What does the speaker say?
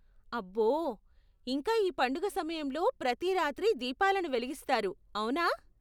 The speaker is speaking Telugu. అబ్బో, ఇంకా ఈ పండుగ సమయంలో ప్రతి రాత్రీ దీపాలను వెలిగిస్తారు, అవునా?